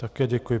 Také děkuji.